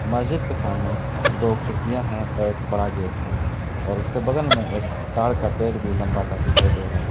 मस्जिद के सामने दो खिड़कियां हैं और एक बड़ा गेट है और उसके बगल में एक ताड़ का पेड़ भी लंबा सा दिखाई दे रहा है।